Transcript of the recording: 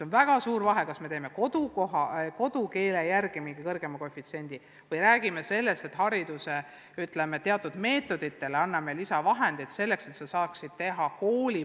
On väga suur vahe, kas me kehtestame kodukeele järgi mingi kõrgema koefitsiendi või anname konkreetsetele koolidele teatud meetodite kasutamiseks lisaraha.